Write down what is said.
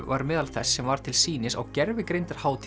var meðal þess sem var til sýnis á